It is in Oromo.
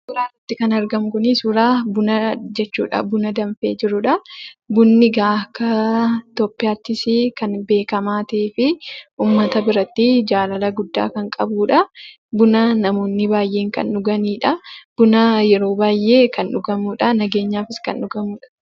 Suuraa kanarratti kan argamu kuni suuraa buna jechuudha. Buna danfee jiru jechuudha. Bunni egaa akka Itoophiyaattis kan beekamaa ta'ee fi uummata biratti jaalala guddaa kan qabudha. Buna namoonni baay'een kan dhuganiidha. Buna yeroo baay'ee kan dhugamuudha; nageenyaafis kan dhugamuudha.